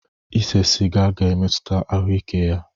Ise sịga ga emetuta ahụ ike ya.